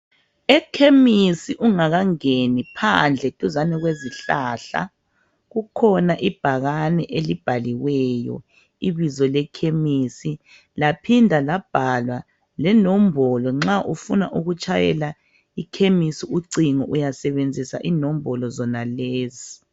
Ekhemisi ungakangeni phandle duzane kwezihlahla kukhona ibhakane elibhaliweyo, ibizo lekhemisi laphindwa labhalwa lenombolo. Nxa ufuna ukutshayela ikhemisi ucingo uyasebenzisa inombolo zonalezo.